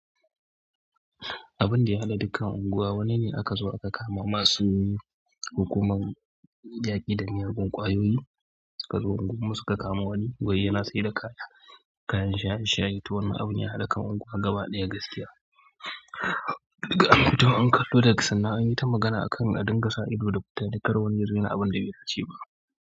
Abin da ya haɗa dukkan unguwa wani ne aka zo aka kama masu hukumar yaƙi da miyagun kwayoyi suka zo unguwan mu suka kama wani, wai yana saida kaya, kayan shaye-shaye, to wannan abun ya haɗa kan unguwa gaba ɗaya gaskiya. Duka, to an kallo da sannan yi ta magana a kan adinga sa ido da fita dan kar wani yazo yana abin da bai dace ba.